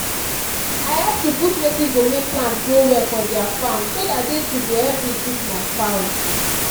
i help to put wetin go make plant grow well for their farm so that they too go help me treat my fowls.